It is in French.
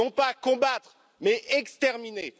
Non pas combattre, mais exterminer.